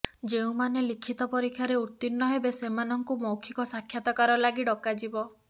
ଯେଉଁମାନେ ଲିଖିତ ପରୀକ୍ଷାରେ ଉତ୍ତୀର୍ଣ୍ଣ ହେବେ ସେମାନଙ୍କୁ ମୌଖିକ ସାକ୍ଷାତକାର ଲାଗି ଡକାଯିବ